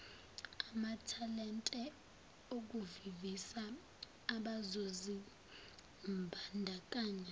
amathalente ukuvivisa abazozimbandakanya